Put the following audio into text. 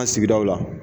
An sigidaw la